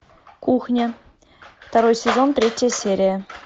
кухня второй сезон третья серия